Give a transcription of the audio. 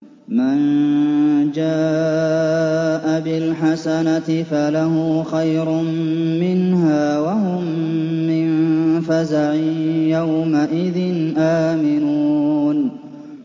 مَن جَاءَ بِالْحَسَنَةِ فَلَهُ خَيْرٌ مِّنْهَا وَهُم مِّن فَزَعٍ يَوْمَئِذٍ آمِنُونَ